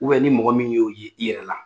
U bɛ ni mɔgɔ min y'o ye i yɛrɛ la